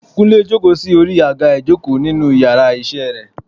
kunle jòkó sí orí agá ìjokò ninu íyarà iṣẹ re